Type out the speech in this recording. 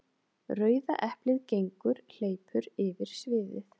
Rauða eplið gengur/hleypur yfir sviðið.